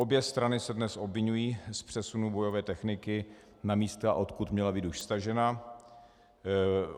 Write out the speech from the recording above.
Obě strany se dnes obviňují z přesunu bojové techniky na místa, odkud měla být už stažena.